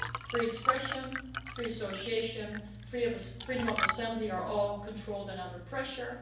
Free expression, free association, freedom of assembly are all controlled and under pressure